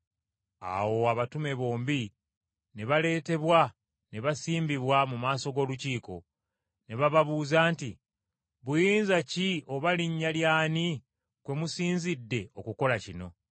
Awo abatume bombi ne baleetebwa ne basimbibwa mu maaso g’Olukiiko. Ne bababuuza nti, “Buyinza ki oba linnya ly’ani kwe musinzidde okukola kino?”